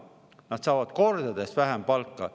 Nad saavad kordades vähem palka.